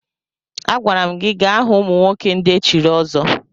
Agwara m gi gaa hụ ụmụnwoke ndị echiri ọzọ!